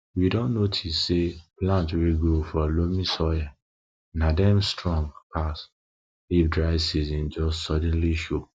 we don notice say plants wey grow for loamy soil na dem dey strong pass if dry season just suddenly show